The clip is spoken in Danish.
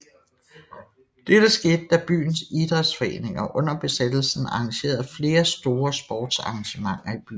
Dette skete da byens Idrætsforeninger under besættelsen arrangerede flere store sportsarrangementer i byen